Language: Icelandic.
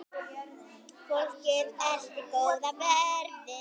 Fólkið elti góða veðrið.